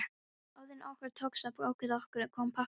Áður en okkur tókst að ákveða okkur kom pabbi askvaðandi.